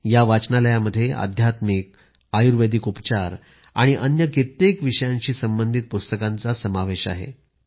या वाचनालयात अध्यात्मिक आयुर्वेदिक उपचार आणि अन्य कित्येक विषयांशी संबंधित पुस्तकांचाही समावेश आहे